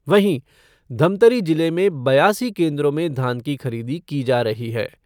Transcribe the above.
वहीं, धमतरी जिले में बयासी केन्द्रों में धान की खरीदी की जा रही है।